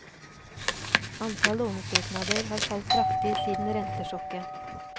Antall lånesøknader har falt kraftig siden rentesjokket.